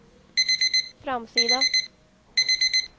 framsida